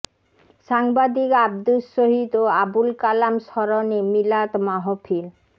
সাংবাদিক আবদুস শহিদ ও আবুল কালাম স্মরণে মিলাদ মাহফিল